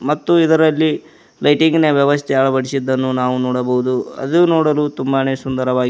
ಮತ್ತು ಇದರಲ್ಲಿ ಲೈಟಿಂಗ್ ನ ವ್ಯವಸ್ತೆ ಅಳವಡಿಸಿದ್ದನ್ನು ನಾವು ನೋಡಬಹುದು ಅದು ನೋಡಲು ತುಂಬಾನೇ ಸುಂದರವಾಗಿದೆ.